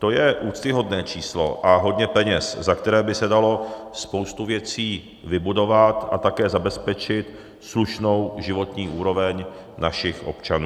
To je úctyhodné číslo a hodně peněz, za které by se dalo spoustu věcí vybudovat a také zabezpečit slušnou životní úroveň našich občanů.